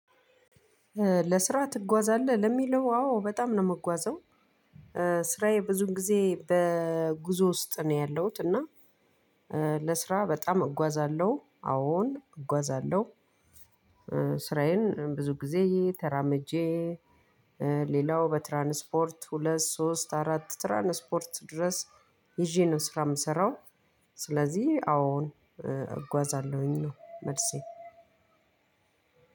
ለስራ ትጓዛለህ? ለሚለው አዎ በጣም ነው የምጓዘው :ስራዬ ብዙ ጊዜ በጉዞ ውስጥ ነው ያለሁት :እና ለስራ በጣም እጓዛለሁ። አዎን እጓዛለሁ። ስራዬን ብዙ ጊዜ ተራምጄ ሌላው በትራንስፖርት ሁለት፣ ሶስት፣ አራት ትራንስፖርት ድረስ ይዤ ነው ስራ የምሰራው ስለዚህ አወን እጓዛለሁኝ ነው መልሴ።